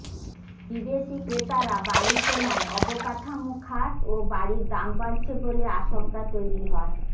বিদেশি ক্রেতারা বাড়ি কেনায় অবকাঠামো খাত ও বাড়ির দাম বাড়ছে বলে আশঙ্কা তৈরি হয়